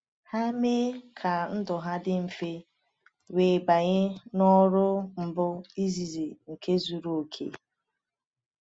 Ha mee ka ndụ ha dị mfe wee banye n’ọrụ mbu izizi nke zuru oke.